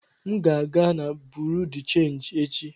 M ga aga na Buruu de chenji echi.